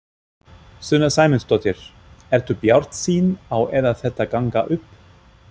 Sunna Sæmundsdóttir: Ertu bjartsýn á að þetta gangi upp?